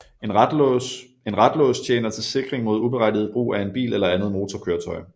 En ratlås tjener til sikring mod uberettiget brug af en bil eller andet motorkøretøj